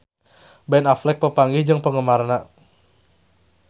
Ben Affleck papanggih jeung penggemarna